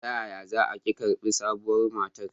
Ta yaya za a ke karbi sabuwar matar?